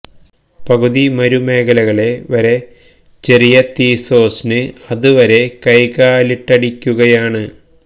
പകുതി മരുമേഖലകളെ വരെ ചെറിയ തീ സോസ് ന് അതുവരെ കൈകാലിട്ടടിക്കുകയാണ്